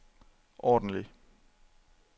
ordentlig